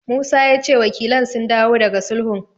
Musa ya ce wakilan sun dawo daga sulhun.